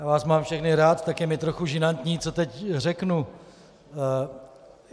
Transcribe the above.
Já vás mám všechny rád, tak je mi trochu žinantní, co teď řeknu.